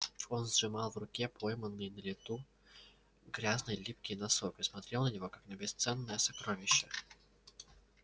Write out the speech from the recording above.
он сжимал в руке пойманный на лету грязный липкий носок и смотрел на него как на бесценное сокровище